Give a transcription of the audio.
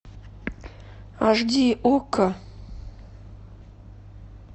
аш ди окко